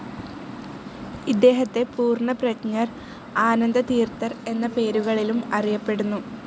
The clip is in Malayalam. ഇദ്ദേഹത്തെ പൂർണ്ണപ്രജ്ഞർ, ആനന്ദതീർത്ഥർ എന്ന പേരുകളിലും അറിയപ്പെടുന്നു.